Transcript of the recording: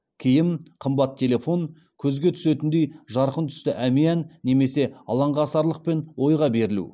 киім қымбат телефон көзге түсетіндей жарқын түсті әмиян немесе алаңғасарлық пен ойға берілу